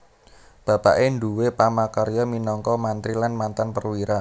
Bapaké nduwé pamarkarya minangka mantri lan mantan perwira